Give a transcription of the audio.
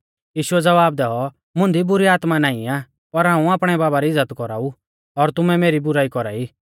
यीशुऐ ज़वाब दैऔ मुंदी बुरी आत्मा नाईं आ पर हाऊं आपणै बाबा री इज़्ज़त कौराऊ और तुमै मेरी बुराई कौरा ई